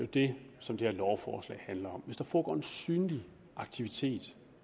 det som det her lovforslag handler om altså hvis der foregår en synlig aktivitet